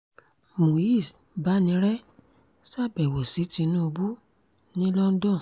muiz banire ṣàbẹ̀wò sí tinubu ní london